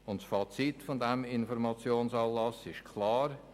Das Fazit dieses Informationsanlasses ist klar: